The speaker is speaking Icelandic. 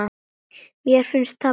Mér finnst það best.